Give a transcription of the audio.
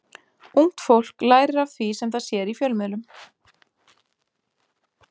Ungt fólk lærir af því sem það sér í fjölmiðlum.